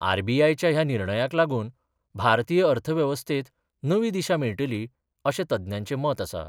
RBI च्या ह्या निर्णयाक लागून भारतीय अर्थव्यवस्थेत नवी दिशा मेळटली अशें तज्ञांचे मत आसा.